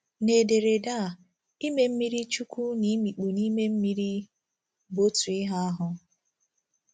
N'ederede a, “ ime mmirichukwu ” na “ imikpu n’ime mmiri ” bụ otu ihe ahụ.